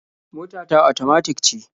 Mota ta otomatik ce.